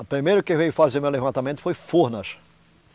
A primeiro que veio fazer meu levantamento foi Furnas.